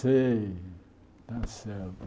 Sei, está certo.